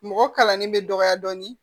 Mɔgɔ kalannen bɛ dɔgɔya dɔɔnin